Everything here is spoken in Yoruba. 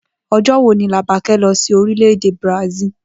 O̩jó̩ wo ni Làbaké̩ lo̩ sí orílè-èdè Brasil?